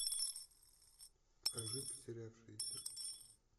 покажи потерявшиеся